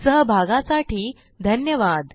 सहभागासाठी धन्यवाद